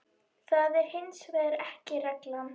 Það er hins vegar ekki reglan.